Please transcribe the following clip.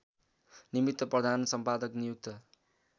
निमित्त प्रधानसम्पादक नियुक्त